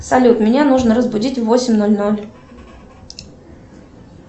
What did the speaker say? салют меня нужно разбудить в восемь ноль ноль